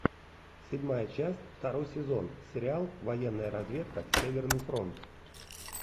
седьмая часть второй сезон сериал военная разведка северный фронт